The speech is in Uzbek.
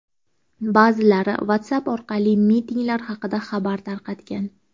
Ba’zilari WhatsApp orqali mitinglar haqida xabar tarqatgan.